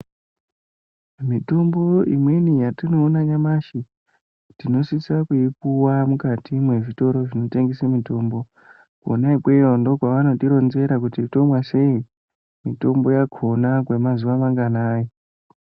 Mitombo imweni yatinoona nyamashi tinosisa kuipiwa mukati mwezvitoro zvinotengese mitombo. Kwona ikweyo ndokwevanotironzera kuti womwa sei, mitombo yakhona kwemazuwa manganai.